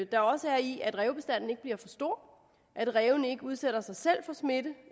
der også er i at rævebestanden ikke bliver for stor at rævene ikke udsætter sig selv for smitte